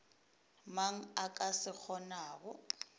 mang a ka se kgonago